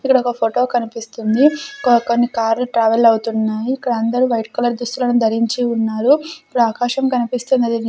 ఇక్కడ ఒక ఫోటో కనిపిస్తుంది క కొన్ని కార్లు ట్రావెల్ అవుతున్నాయి ఇక్కడ అందరూ వైట్ కలర్ దుస్తులను ధరించి ఉన్నారు ఇక్కడ ఆకాశం కనిపిస్తున్నది ఇది--